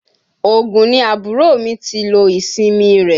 Ògùn ni àbúrò mi ti lo ìsinmi rẹ̀.